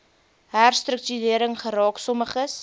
herstruktuering geraak sommiges